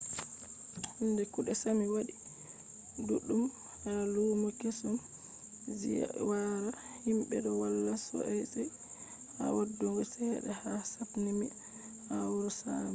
hande kuɗe sami waɗi ɗuɗɗum ha lumo kesum. ziyara himɓe ɗo walla sosai ha waddugo cede ha sapmi ha wuro sami